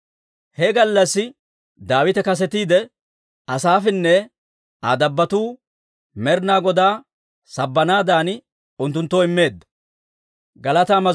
He gallassi Daawite kasetiide, Asaafinne Aa dabbotuu Med'inaa Godaa sabbanaadan unttunttoo immeedda.